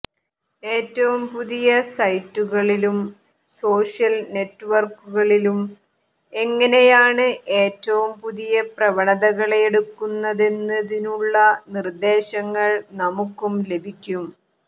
ഏറ്റവും പുതിയ സൈറ്റുകളിലും സോഷ്യൽ നെറ്റ്വർക്കുകളിലും എങ്ങനെയാണ് ഏറ്റവും പുതിയ പ്രവണതകളെടുക്കുന്നതെന്നതിനുള്ള നിർദ്ദേശങ്ങൾ നമുക്ക് ലഭിക്കും